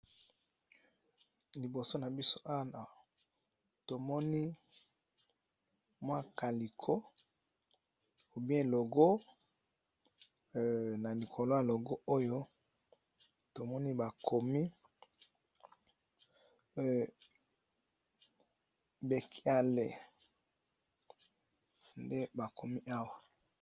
Liboso na biso awa tomoni mwa kaliko ou bien logo, na likolo ya logo oyo tomoni bakomi Bekiale nde bakomi awa.